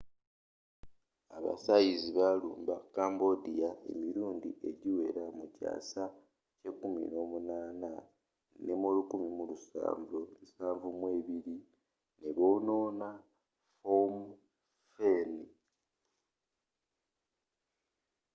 aba thais balumba cambodia emirundi egiwera mu kyaasa ky’e18 nemu 1772 nebonoona phnom phen